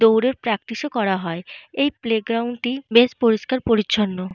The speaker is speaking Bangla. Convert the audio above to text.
দৌড়ের প্রাকটিস ও করা হয়। এই প্লেগ্রাউন্ড টি বেশ পরিষ্কার পরিছন্ন।